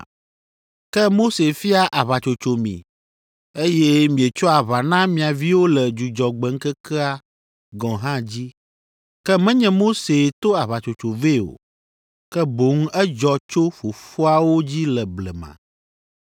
Ke Mose fia aʋatsotso mi, eye mietsoa aʋa na mia viwo le Dzudzɔgbe ŋkekea gɔ̃ hã dzi. (Ke menye Mosee to aʋatsotso vɛ o, ke boŋ edzɔ tso fofoawo dzi le blema.)